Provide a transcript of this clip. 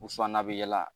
U sɔn na a bi yala